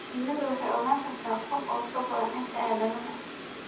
Shinnidu waxay ogaan kartaa kun ur ka badan inta aadanuhu.